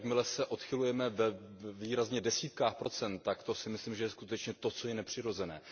Jakmile se odchylujeme ve výrazně desítkách procent, tak to si myslím, že je skutečně to, co je nepřirozené.